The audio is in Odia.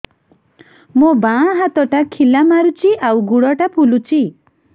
ମୋ ବାଆଁ ହାତଟା ଖିଲା ମାରୁଚି ଆଉ ଗୁଡ଼ ଟା ଫୁଲୁଚି